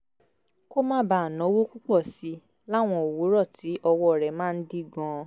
kó má bàa náwó púpọ̀ sí i láwọn òwúrọ̀ tí ọwọ́ rẹ̀ máa ń dí gan-an